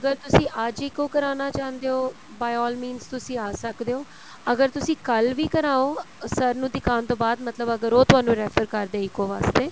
ਅਗਰ ਤੁਸੀਂ ਅੱਜ ਹੀ ECO ਕਰਾਣਾ ਚਾਹੰਦੇ ਓ by all means ਤੁਸੀਂ ਆ ਸਕਦੇ ਓ ਅਗਰ ਤੁਸੀਂ ਕੱਲ ਵੀ ਕਰਾਉ sir ਨੂੰ ਦਿਖਾਣ ਤੋਂ ਬਾਅਦ ਮਤਲਬ ਅਗਰ ਉਹ ਤੁਹਾਨੂੰ refer ਕਰਦੇ ECO ਵਾਸਤੇ